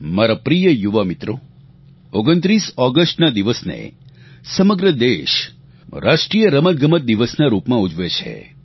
મારા પ્રિય યુવા મિત્રો 29 ઓગસ્ટના દિવસને સમગ્ર દેશ રાષ્ટ્રીય રમતગમત દિવસના રૂપમાં ઉજવે છે